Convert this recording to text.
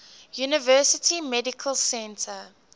university medical center